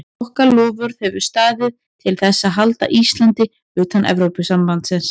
Okkar loforð hefur staðið til þess að halda Íslandi utan Evrópusambandsins.